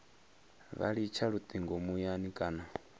vha litsha lutingo muyani kana